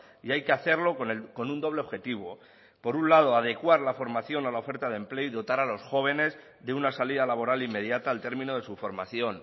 y hay que hacerlo con un doble objetivo por un lado adecuar la formación a la oferta de empleo y dotar a los jóvenes de una salida laboral inmediata al término de su formación